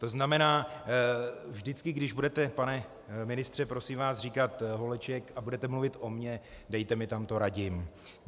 To znamená, vždycky když budete, pane ministře, prosím vás, říkat Holeček a budete mluvit o mně, dejte mi tam to Radim.